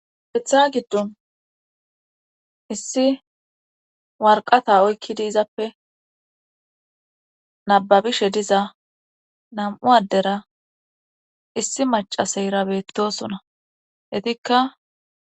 Hetha giddon issi warqata oykki diizappe nababishe diza nam7u addera issi macaseyra beettosona hetikka.